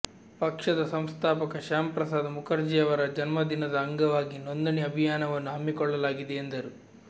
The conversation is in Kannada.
ಪಕ್ಷದ ಸಂಸ್ಥಾಪಕ ಶ್ಯಾಂಪ್ರಸಾದ್ ಮುಖರ್ಜಿಯವರ ಜನ್ಮದಿನದ ಅಂಗವಾಗಿ ನೋಂದಣಿ ಅಭಿಯಾನವನ್ನು ಹಮ್ಮಿಕೊಳ್ಳಲಾಗಿದೆ ಎಂದರು